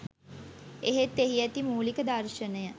එහෙත් එහි ඇති මූලික දර්ශනය